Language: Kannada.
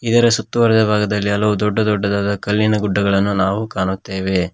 ಇದರ ಸುತ್ತುವರಿದ ಭಾಗದಲ್ಲಿ ಹಲವು ದೊಡ್ಡ ದೊಡ್ಡದಾದ ಕಲ್ಲಿನ ಗುಡ್ಡಗಳನ್ನು ನಾವು ಕಾಣುತ್ತೆವೆ.